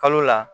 Kalo la